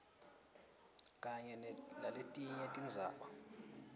kanye naletinye tindzaba